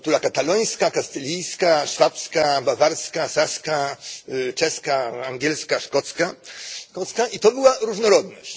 Była kultura katalońska, kastylijska, szwabska, bawarska, saska, czeska, angielska, szkocka, i to była różnorodność.